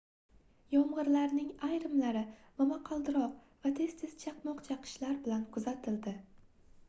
yomgʻirlarning ayrimlari momaqaldiroq va tez-tez chaqmoq chaqishlar bilan kuzatildi